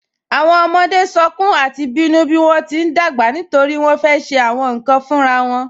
Awọn ọmọde sọ̀kún àti bínu bí wọn ti n dágbà nítorí wọn fẹ́ ṣe awọn nkan fúnrara won